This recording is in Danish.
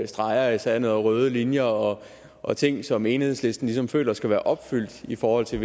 streger i sandet og røde linjer og ting som enhedslisten ligesom føler skal være opfyldt i forhold til